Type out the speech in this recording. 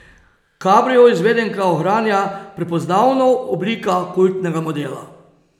Kabrio izvedenka ohranja prepoznavno oblika kultnega modela.